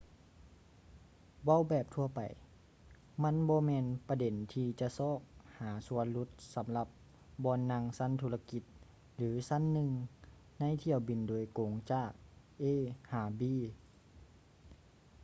ເວົ້າແບບທົ່ວໄປ ມັນບໍ່ແມ່ນປະເດັນທີ່ຈະຊອກຫາສ່ວນຫຼຸດສຳລັບບ່ອນນັ່ງຊັ້ນທຸລະກິດ ຫຼື ຊັ້ນໜຶ່ງໃນຖ້ຽວບິນໂດຍກົງຈາກ a ຫາ b